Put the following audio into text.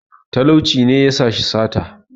talauci ne ya sa shi sata